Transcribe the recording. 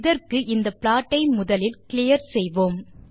இதற்கு இந்த ப்ளாட் ஐ முதலில் க்ளியர் செய்வோம்